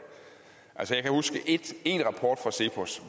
jeg kan huske én rapport fra cepos